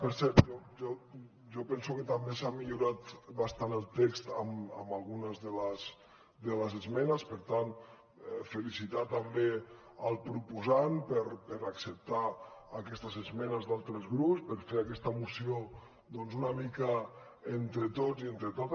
per cert jo penso que també s’ha millorat bastant el text amb algunes de les esmenes per tant felicitar també el proposant per acceptar aquestes esmenes d’altres grups per fer aquesta moció doncs una mica entre tots i entre totes